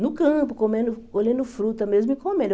No campo, comendo olhando fruta mesmo e comendo.